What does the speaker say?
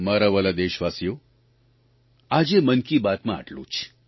મારા વ્હાલા દેશવાસીઓ આજે મન કી બાતમાં આટલું જ